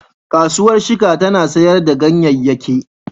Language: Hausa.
Kasuwar Shika tana sayar da ganyeyake.